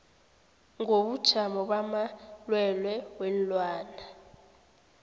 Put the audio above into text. ngobujamo bamalwelwe weenlwana